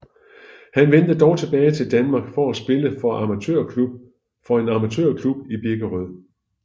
Han vendte dog tilbage til Danmark for at spille for en amatørklub i Birkerød